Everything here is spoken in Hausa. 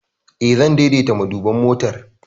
Eh, zan daidaita maduban motar.